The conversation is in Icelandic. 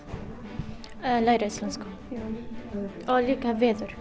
að læra íslensku og líka veður